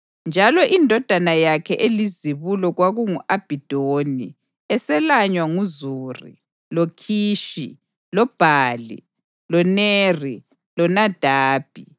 njalo indodana yakhe elizibulo kwakungu-Abhidoni, eselanywa nguZuri, loKhishi, loBhali, loNeri, loNadabi,